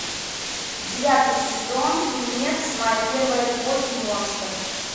девятый сезон фильмец моя первая любовь монстр